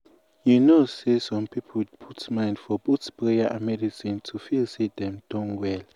you um know say some people put mind for both prayer and medicine to feel say dem don well.